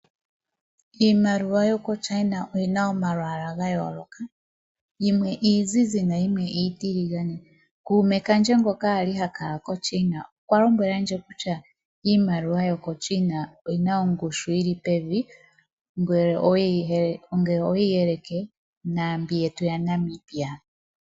Iimaliwa yo koChina oyina omalwaala ga yooloka, yimwe iizizi, na yimwe iitiligane. Kuume kandje ngoka ali ha kala koChina okwa lombwelandje kutya iimaliwa yoko China oyina ongushu yili pevi, ngele oweyi yelekanitha naambyoka yetu yaNamibia.